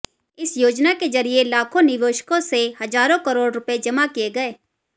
इस योजना के जरिए लाखों निवेशकों से हजारों करोड़ रुपये जमा किए गए